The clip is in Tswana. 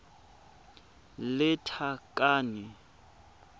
lethakane